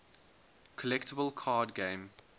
collectible card game